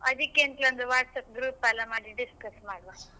ಅದಿಕ್ಕೆಂತ್ ಒಂದ್ WhatsApp group ಎಲ್ಲಾ ಮಾಡಿ discuss ಮಾಡ್ವ.